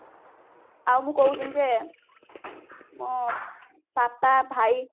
ଆଉ ମୁଁ କହୁଥିଲି ଯେ ମୋ ବାପା ଭାଇ